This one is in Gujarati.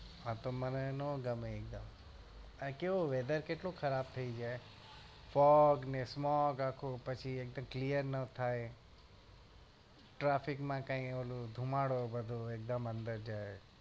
હા તો મને ના ગમે આ કેવું weather કેટલો ખરાબ થાયી જાય fog ને smoke આખું પછી એક તો clear ન થાય traffic માં કઈ ઓલું ધુમાડો બધો એક દમ અંદર જાય